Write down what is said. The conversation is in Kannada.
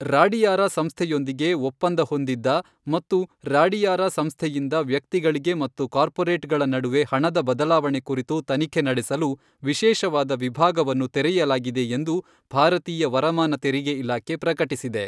ರಾಡಿಯಾರ ಸಂಸ್ಥೆಯೊಂದಿಗೆ ಒಪ್ಪಂದ ಹೊಂದಿದ್ದ ಮತ್ತು ರಾಡಿಯಾರ ಸಂಸ್ಥೆಯಿಂದ ವ್ಯಕ್ತಿಗಳಿಗೆ ಮತ್ತು ಕಾರ್ಪೋರೇಟ್ ಗಳ ನಡುವೆ ಹಣದ ಬದಲಾವಣೆ ಕುರಿತು ತನಿಖೆ ನಡೆಸಲು ವಿಶೇಷವಾದ ವಿಭಾಗವನ್ನು ತೆರೆಯಲಾಗಿದೆ ಎಂದು ಭಾರತೀಯ ವರಮಾನ ತೆರಿಗೆ ಇಲಾಖೆ ಪ್ರಕಟಿಸಿದೆ.